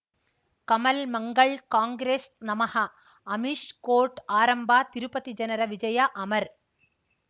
ಕಮಲ್ ಮಂಗಳ್ ಕಾಂಗ್ರೆಸ್ ನಮಃ ಅಮಿಷ್ ಕೋರ್ಟ್ ಆರಂಭ ತಿರುಪತಿ ಜನರ ವಿಜಯ ಅಮರ್